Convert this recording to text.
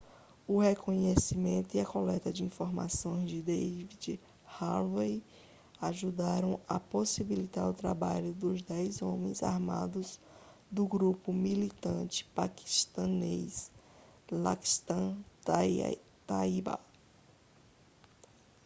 o reconhecimento e a coleta de informações de david headley ajudaram a possibilitar o trabalho dos 10 homens armados do grupo militante paquistanês laskhar-e-taiba